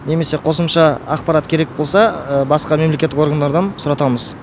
немесе қосымша ақпарат керек болса басқа мемлекеттік органдардан сұратамыз